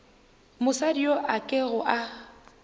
mosadi yo a kego a